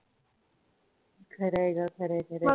खरं आहे ग खर.